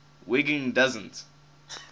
wiggin doesn t